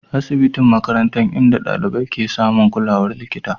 asibitin makarantan inda dalibai ke samun kulawar likita.